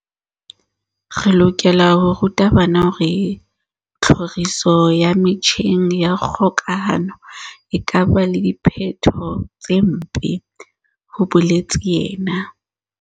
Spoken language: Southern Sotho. "Re lokela ho ruta bana hore tlhoriso ya metjheng ya kgokahano e ka ba le diphetho tse mpe," ho boletse yena.